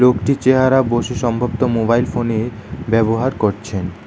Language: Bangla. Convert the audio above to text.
একটি চেয়ার -এ সম্ভাবত মোবাইল ফোন -এ ব্যবহার করছেন।